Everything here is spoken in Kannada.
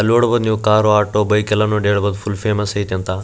ಅಲ್ ನೋಡಬೋದು ನೀವು ಕಾರು ಆಟೋ ಬೈಕೆಲ್ಲ ನೋಡ್ ಹೆಳಬೋದ್ ಫುಲ್ ಫೇಮಸ್ ಐತಂತ.